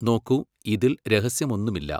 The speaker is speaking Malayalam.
നോക്കൂ, ഇതിൽ രഹസ്യമൊന്നുമില്ല.